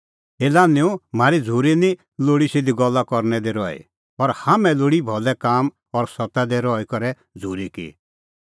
ए लान्हैंओ म्हारी झ़ूरी निं लोल़ी सिधी गल्ला करनै दी रही पर हाम्हैं लोल़ी भलै काम और सत्ता दी रही करै झ़ूरी की